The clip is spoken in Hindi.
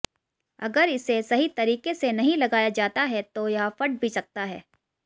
अगर इसे सहीं तरीके से नहीं लगाया जाता है तो यह फट भी सकता है